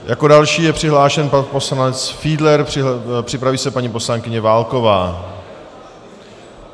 Jako další je přihlášen pan poslanec Fiedler, připraví se paní poslankyně Válková.